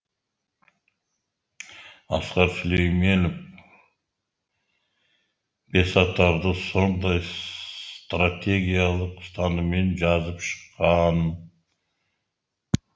асқар сүлейменов бесатарды сондай стратегиялық ұстаныммен жазып шыққан